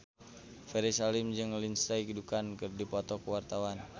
Ferry Salim jeung Lindsay Ducan keur dipoto ku wartawan